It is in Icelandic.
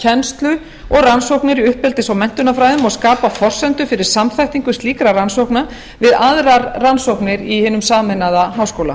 kennslu og rannsóknir í uppeldis og menntunarfræðum og skapa forsendur fyrir samþættingu slíkra rannsókna við aðrar rannsóknir í hinum sameinaða háskóla